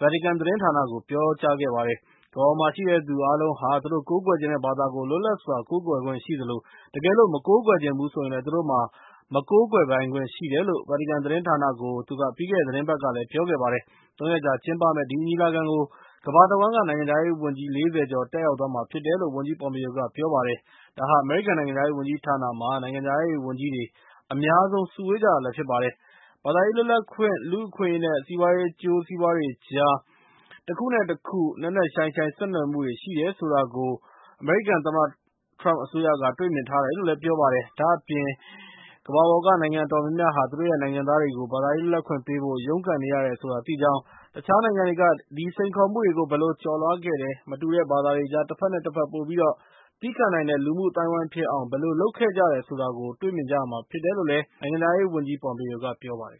ဗာတီကန်သတင်းဌာနကို ပြောကြားခဲ့ပါတယ်။ ကမ္ဘာပေါ်မှာရှိတဲ့သူအားလုံးဟာ သူတို့ကိုးကွယ်ချင်တဲ့ဘာသာကို လွတ်လပ်စွာကိုးကွယ်ခွင့်ရှိသလို၊ တကယ်လို့ သူတို့က မကိုးကွယ်ချင်ဘူးဆိုရင်လည်း သူတို့မှာ မကိုးကွယ်ပိုင်ခွင့်ရှိတယ်လို့ ဗာတီကန်သတင်းဌာနကို သူက ပြီးခဲ့တဲ့ သီတင်းပတ်ကလည်း ပြောခဲ့ပါတယ်။ ၃ ရက်ကြာ ကျင်းပမယ့် ဒီညီလာခံကို ကမ္ဘာတဝှမ်းက နိုင်ငံခြားရေးဝန်ကြီး ၄၀ ကျော်တက်ရောက်သွားမှာဖြစ်တယ်လို့ ဝန်ကြီး Pompeo က ပြောပါတယ်။ ဒါဟာ အမေရိကန်နိုင်ငံခြားရေးဝန်ကြီးဌာနမှာ နိုင်ငံခြားရေးဝန်ကြီးတွေ အများဆုံး စုဝေးကြတာလည်း ဖြစ်ပါတယ်။ ဘာသာရေးလွတ်လပ်ခွင့်၊ လူ့အခွင့်အရေး နဲ့ စီးပွားရေးအကျိုးစီးပွားတွေကြား တခုနဲ့တခု နက်နက်ရှိုင်းရှိုင်း ဆက်နွယ်မှုတွေ ရှိတယ်ဆိုတာကို အမေရိကန် သမ္မတထရမ့်အစိုးရက တွေ့မြင်ထားတယ်လို့ ပြောပါတယ်။ ဒါ့အပြင် ကမ္ဘာပေါ်ကနိုင်ငံအတော်များများဟာ သူတို့ရဲ့ နိုင်ငံသားတွေကို ဘာသာရေးလွတ်လပ်ခွင့်ပေးဖို့ ရုန်းကန်နေရတယ်ဆိုတာ သိကြောင်း၊ တခြားနိုင်ငံတွေက အဲဒီစိန်ခေါ်မှုတွေကို ဘယ်လိုကျော်လွှားခဲ့တယ်၊ မတူတဲ့ဘာသာတွေကြား တဘက်နဲ့တဘက် ပိုပြီးတော့ သည်းခံနိုင်တဲ့ လူမှုအသိုင်းအဝိုင်းဖြစ်အောင် ဘယ်လို လုပ်ခဲ့ကြတယ်ဆိုတာကို တွေ့မြင်ရမှာဖြစ်တယ်လို့ နိုင်ငံခြားရေးဝန်ကြီး Pompeo က ပြောပါတယ်